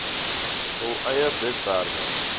hul eie webwerwe